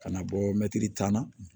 Ka na bɔ mɛtiri tan na